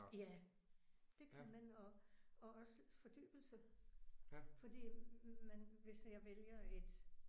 Ja det kan man og og også fordybelse. Fordi man hvis jeg vælger et